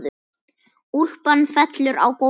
Úlpan fellur á gólfið.